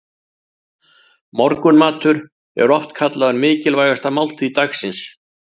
Morgunmatur er oft kallaður mikilvægasta máltíð dagsins.